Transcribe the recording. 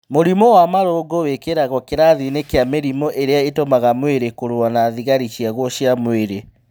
Mũrimũ wa marũngo wĩkĩragwo kĩrathi-inĩ kĩa mĩrimũ ĩrĩa ĩtũmaga mwĩrĩ kũrũa na thigari ciaguo cia mwĩrĩ